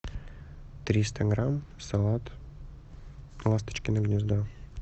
триста грамм салат ласточкино гнездо